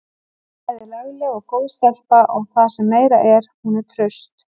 Hún er bæði lagleg og góð stelpa og það sem meira er: Hún er traust.